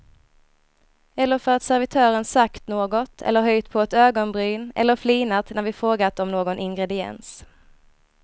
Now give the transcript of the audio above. Eller för att servitören sagt något eller höjt på ett ögonbryn eller flinat när vi frågat om någon ingrediens.